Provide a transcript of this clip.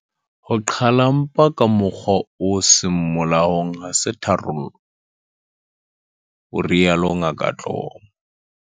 "Ho qhala mpa ka mokgwa o seng molaong ha se tharollo," o rialo Ngaka Dlomo.